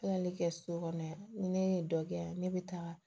Kilali kɛ so kɔnɔ yan ne ye dɔ kɛ yan ne bɛ taa